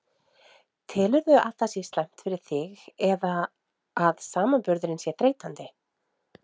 Telurðu að það sé slæmt fyrir þig eða að samanburðurinn sé þreytandi?